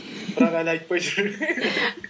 бірақ әлі айтпай жүр